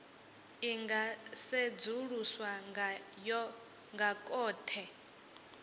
i nga sedzuluswa nga khothe